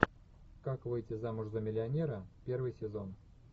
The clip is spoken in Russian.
как выйти замуж за миллионера первый сезон